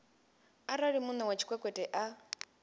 arali muṋe wa tshikwekwete a